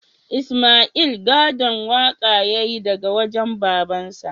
Isma'il gadon waƙa ya yi daga wajen babansa